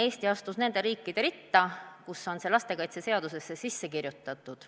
Eesti astus nende riikide ritta, kus on see lastekaitseseadusesse kirjutatud.